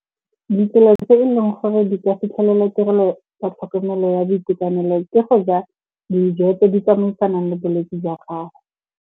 Ditsela tse eleng gore di ka fitlhelela tirelo tsa tlhokomelo ya boitekanelo ke go ja dijo tse di tsamaisang le bolwetse jwa gago.